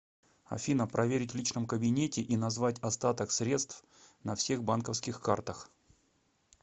афина проверить в личном кабинете и назвать остаток средств на всех банковских картах